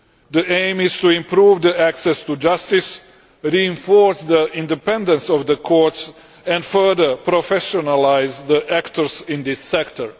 The aim is to improve access to justice, reinforce the independence of the courts and further professionalise the actors in this sector.